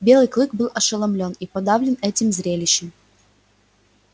белый клык был ошеломлён и подавлен этим зрелищем